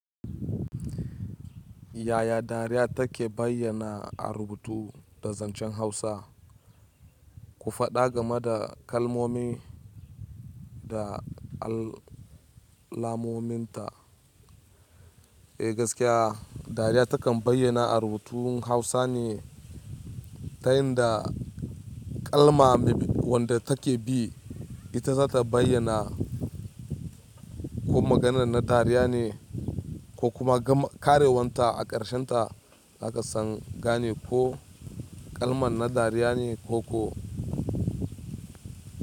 Yaya dariya take bayyana a rubutu da zancen Hausa? Ku faɗa game da kalmomi da alamominta. Eh gaskiya, dariya takan bayyana a rubutun Hausa ne ta yin da kalma wadda take bi, ita za ta bayyana ko maganar na dariya ne ko kuma karewanta a ƙarshe ta zaka san gane ko kalma na dariya ne ko ku.